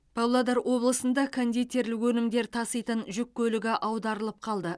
павлодар облысында кондитерлік өнімдер таситын жүк көлігі аударылып қалды